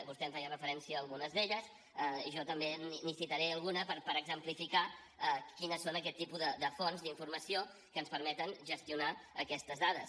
vostè em feia referència a algunes d’elles jo també n’hi citaré alguna per exemplificar quins són aquests tipus de fonts d’informació que ens permeten gestionar aquestes dades